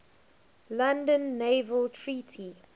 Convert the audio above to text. london naval treaty